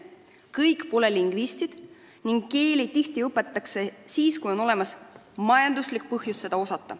Kõik pole lingvistid ning keeli õpitakse tihti siis, kui on olemas majanduslik põhjus neid osata.